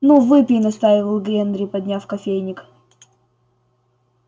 ну выпей настаивал генри подняв кофейник